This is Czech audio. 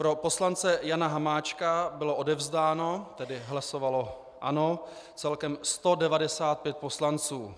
Pro poslance Jana Hamáčka bylo odevzdáno, tedy hlasovalo ano, celkem 195 poslanců.